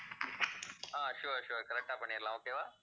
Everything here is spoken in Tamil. ஆஹ் sure, sure correct ஆ பண்ணிடலாம் okay வா